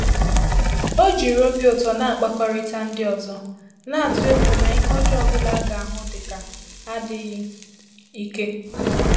Ọ́ jìrì óbì ụ́tọ́ nà-àkpàkọ́rị́tà ndị́ ọ́zọ́, nà-àtụ́ égwú nà ìhè ọ́jọ́ọ́ ọ́ bụ́lá á gà-àhụ́ dị́ kà ádị́ghị́ íké.